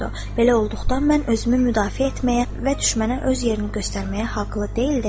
Belə olduqda mən özümü müdafiə etməyə və düşmənə öz yerini göstərməyə haqlı deyildimmi?